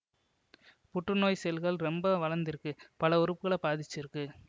புற்று நோய் செல்கள் ரொம்ப வளந்திருக்கு பல உறுப்புக்கள பாதிச்சிருக்கு